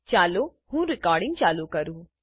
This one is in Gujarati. ચાલો હું રેકોર્ડીંગ ચાલુ કરું